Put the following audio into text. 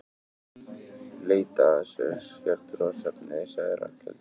Leita að sértrúarsöfnuði sagði Ragnhildur.